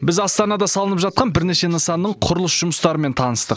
біз астанада салынып жатқан бірнеше нысанның құрылыс жұмыстарымен таныстық